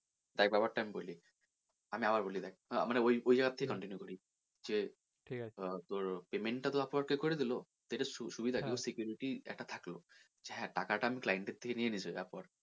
তা এই ব্যাপার টা আমি বলি, আমি আবার বলি দেখ মানে ওই ওই, ওই জায়গা থেকে continue করি যে আহ তোর payment টা তো upwork কে করে দিলো এটা সুবিধা কি security একটা থাকলো যে হ্যাঁ টাকা টা client এর থেকে নিয়ে নিয়েছে upwork